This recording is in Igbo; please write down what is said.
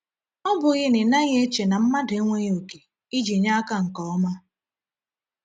Ọ bụghị na ị naghị eche na mmadụ enweghị oke iji nye aka nke ọma?